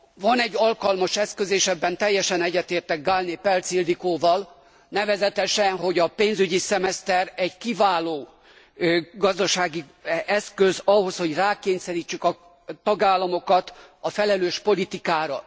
Van egy alkalmas eszköz és ebben teljesen egyetértek Gállné Pelcz Ildikóval nevezetesen, hogy a pénzügyi szemeszter egy kiváló gazdasági eszköz ahhoz, hogy rákényszerítsük a tagállamokat a felelős politikára.